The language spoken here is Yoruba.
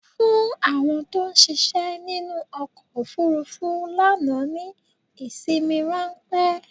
Fún àwọn tó ṣiṣẹ́ nínú ọkọ̀ ofúrúfú lánàá ní ìsinmi ráńpẹ́!